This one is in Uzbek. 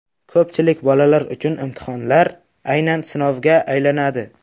Ko‘pchilik bolalar uchun imtihonlar aynan sinovga aylanadi.